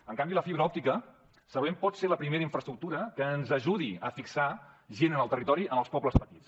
en canvi la fibra òptica segurament pot ser la primera infraestructura que ens ajudi a fixar gent en el territori en els pobles petits